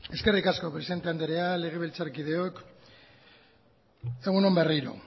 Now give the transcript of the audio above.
eskerrik asko presidenta andrea legebiltzarkideok egun on berriro